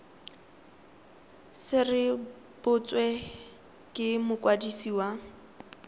se rebotswe ke mokwadisi wa